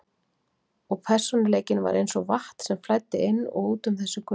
Og persónuleikinn var eins og vatn sem flæddi inn og út um þessi göt.